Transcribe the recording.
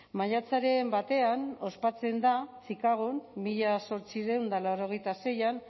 maiatzaren batean ospatzen da chicagon mila zortziehun eta laurogeita seian